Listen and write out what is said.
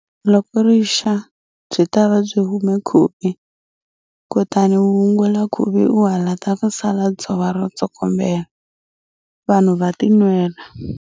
Loko rixa, byi ta va byi hume khuvi, kutani u wungula khuvi u halata ku sala dzova ro tsokombela, vanhu va tinwela.